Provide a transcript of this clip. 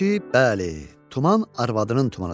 bəli, tuman arvadının tumanıdır.